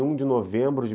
vinte e um de novembro de